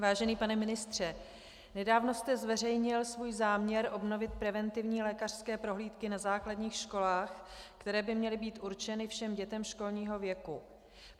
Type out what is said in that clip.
Vážený pane ministře, nedávno jste zveřejnil svůj záměr obnovit preventivní lékařské prohlídky na základních školách, které by měly být určeny všem dětem školního věku.